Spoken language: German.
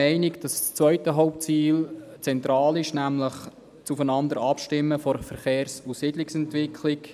Auch das zweite Hauptziel ist zentral, nämlich das Aufeinander-Abstimmen der Verkehrs- und Siedlungsentwicklung.